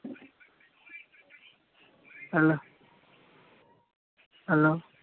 hello helo